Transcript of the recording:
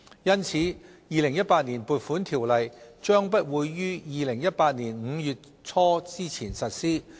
因此，《2018年撥款條例》將不會於2018年5月初前實施。